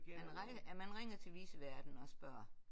Man ringer ja man ringer til viceværten og spørger